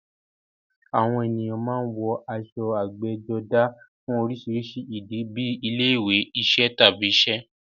Àwọn ènìyàn máa ń wọ aṣọ ẹgbẹ́jọdá fún oríṣiríṣi ìdí, bíi ilé-ìwé, iṣẹ́, tàbí iṣẹ́.